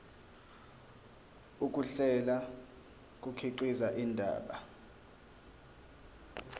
ukuhlela kukhiqiza indaba